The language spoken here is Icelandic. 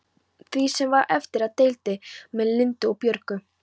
Því sem var eftir deildi ég með Lindu og Björgu.